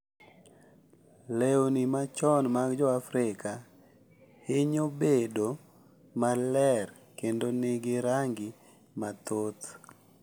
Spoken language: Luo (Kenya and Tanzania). Lewni machon mag Joafrika hinyo bedo maler kendo nigi rangi mathoth.